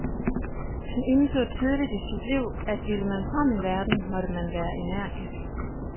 Han indså tidligt i sit liv, at ville man frem i verden, måtte man være energisk.